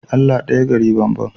Allah daya gari banban